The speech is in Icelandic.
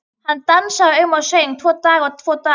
Hann dansaði um og söng: Tvo daga, tvo daga